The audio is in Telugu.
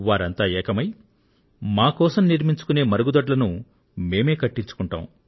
వారంతా ఏకమై మా కోసం నిర్మించుకునే మరుగుదొడ్లను మేమే కట్టించుకుంటాం